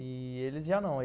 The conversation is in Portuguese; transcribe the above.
E eles já não...